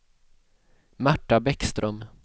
Märta Bäckström